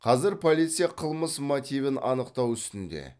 қазір полиция қылмыс мотивін анықтау үстінде